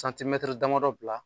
damadɔ bila.